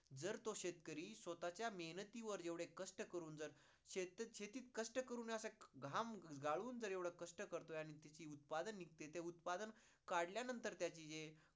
जर तो शेतकरी स्वतःच्या मेहनतीवर एवढे कष्ट करून जर शेतीत कष्ट करून असा घाम गाळून जर एवढे कष्ट करतोय आणि त्याची उत्पादने निघते, उत्पादने काढल्यानंतर त्याचे जे